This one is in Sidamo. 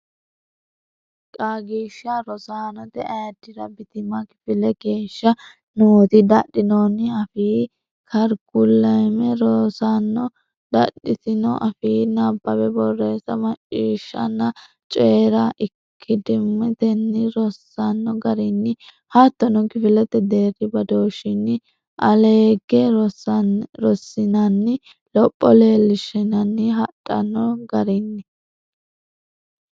Qaagiishsha Rosaanote Ayiddira Bitima kifele geeshsha nooti dadhinoonni afii karikulame rosaano dadhitino afiinni nabbawa borreessa macciishshanna coyi ra ikkadimmatenni rossanno garinni hattono kifilete deerri badooshshinni aleegge rossanninna lopho leellishshanni hadhanno garinni.